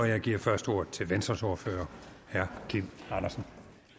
jeg giver først ordet til venstres ordfører herre kim andersen